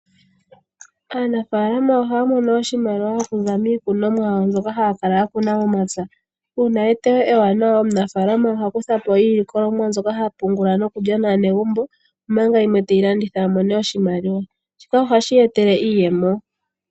Aanafalama ohaya mono oshimaliwa okuza miikunimwa yawo mbyoka haya kala yakuna momapya. Uuna eteyo ewanawa omunafalama oha kuthapo iilikolomwa mbyoka hapungula nokulya naanegumbo omanga yimwe teyi landitha amone oshimaliwa. Shika ohashi eta iiyemo.